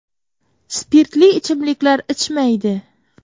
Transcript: Spirtli ichimliklar ichmaydi.